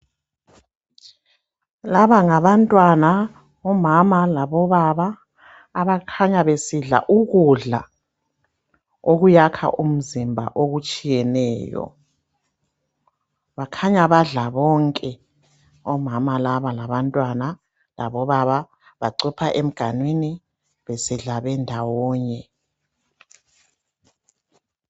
Laba ngabantwana, omama labobaba abakhanya besidla ukudla okuyakha umzimba okutshiyeneyo. Bakhanya badla bonke omama laba labantwana labobaba bacupha emganinwi besidla bendawonye.